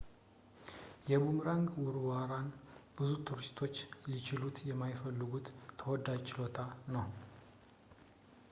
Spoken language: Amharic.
የቡምራንግ ውርወራን ብዙ ቱሪስቶች ሊችሉት የሚፈልጉት ተወዳጅ ችሎታ ነው